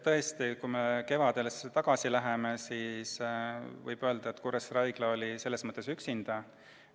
Tõesti, kui me kevadesse tagasi läheme, siis võib öelda, et Kuressaare Haigla oli üksinda.